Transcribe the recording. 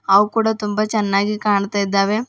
ಅವ್ ಕೂಡ ತುಂಬ ಚೆನ್ನಾಗಿ ಕಾಣ್ತಾ ಇದ್ದಾವೆ.